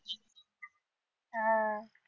हा